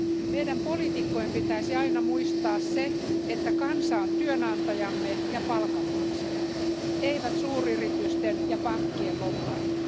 Meidän poliitikkojen pitäisi aina muistaa se, että kansa on työnantajamme ja palkanmaksajamme, eivät suuryritysten ja pankkien lobbarit.